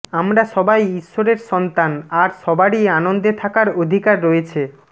আমরা সবাই ঈশ্বরের সন্তান আর সবারই আনন্দে থাকার অধিকার রয়েছে